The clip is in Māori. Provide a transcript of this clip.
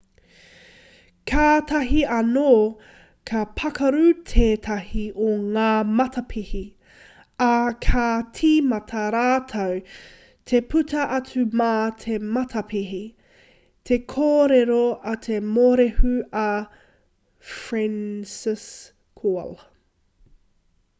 kātahi anō ka pakaru tētahi o ngā matapihi ā kā tīmata rātou te puta atu mā te matapihi te kōrero a te morehu a franciszek kowal